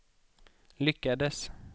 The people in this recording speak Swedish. lyckades